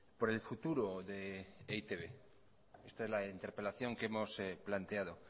por el futuro de e i te be esta es la interpelación que hemos planteado